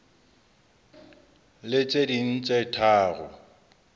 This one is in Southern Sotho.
le tse ding tse tharo